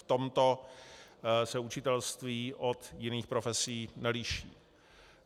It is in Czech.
V tomto se učitelství od jiných profesí neliší.